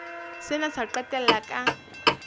sena se ka qetella ka